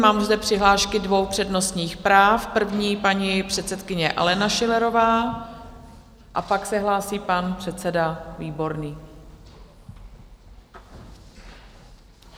Mám zde přihlášky dvou přednostních práv, první paní předsedkyně Alena Schillerová a pak se hlásí pan předseda Výborný.